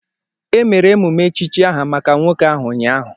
Emere emume echichi aha maka nwoke ahụ ụnyaahụ